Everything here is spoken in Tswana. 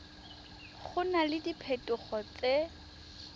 go na le diphetogo tse